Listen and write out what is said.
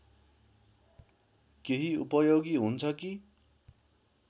केही उपयोगी हुन्छ कि